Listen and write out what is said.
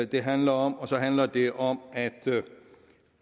det handler om og så handler det om